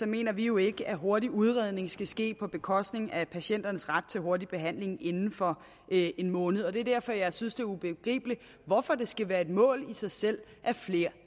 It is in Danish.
mener vi jo ikke at hurtig udredning skal ske på bekostning af patienternes ret til hurtig behandling inden for en måned og det er derfor jeg synes det er ubegribeligt hvorfor det skal være et mål i sig selv at flere